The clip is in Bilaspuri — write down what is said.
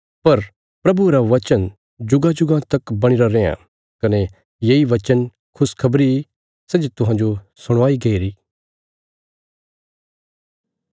पर प्रभुये रा वचन जुगांजुगां तक बणीरा रैआं कने येई वचन खुशखबरी सै जे तुहांजो सुणाई गईरी